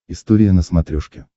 история на смотрешке